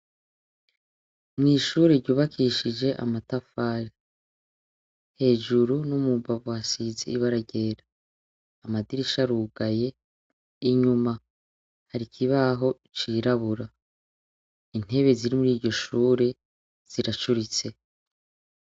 Mwishure ry’ubakishije amatafari, hejuru no mu mbavu hasize ibara ryera, amadirisha arugaye, inyuma hari ikibabo cirabura, intebe ziri muriryoshure ziracuritse.